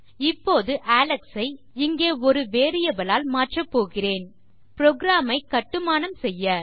இப்போது அலெக்ஸ் ஐ இங்கே ஒரு வேரியபிள் ஆல் மாற்றப்போகிறேன் புரோகிராம் ஐ கட்டுமானம் செய்ய